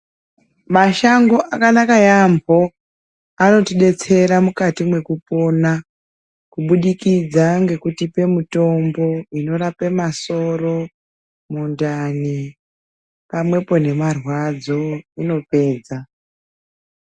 Mashango akanaka yambo, anotidetsera mukati mekupona kubudikidza ngekutipe mutombo inorape masoro, muntani pamwepo nemarwadzo inopedza.